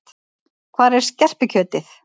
Hvar er skerpikjötið?